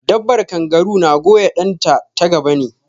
Dabbar kangaru na goya ɗan ta ta gaba ne